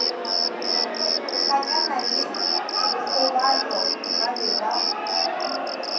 hlakana le dikgobalo ba be